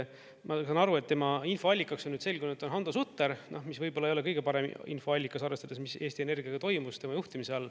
Ma saan aru, et tema infoallikaks, on nüüd selgunud, on Hando Sutter, mis võib-olla ei ole kõige paremini infoallikas, arvestades, mis Eesti Energiaga toimus tema juhtimise all.